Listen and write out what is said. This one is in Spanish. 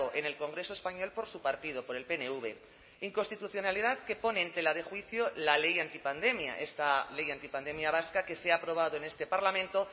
en el congreso español por su partido por el pnv inconstitucionalidad que pone en tela de juicio la ley antipandemia esta ley antipandemia vasca que se ha aprobado en este parlamento